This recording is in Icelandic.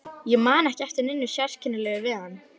Ég man ekki eftir neinu sérkennilegu við hann.